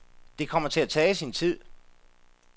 Det kommer til at tage sin tid.